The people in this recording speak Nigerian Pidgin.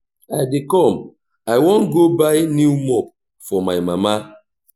i dey come i wan go buy new mop for my mama